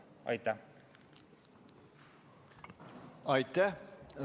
Aitäh!